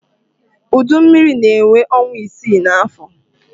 Udu mmiri na-enwe ọnwa isii n'afọ.